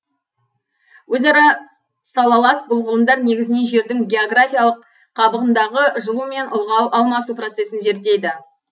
өзара салалас бұл ғылымдар негізінен жердің географиялық қабығындағы жылу мен ылғал алмасу процесін зерттейді